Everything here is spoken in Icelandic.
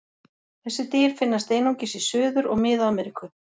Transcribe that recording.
Þessi dýr finnast einungis í Suður- og Mið-Ameríku.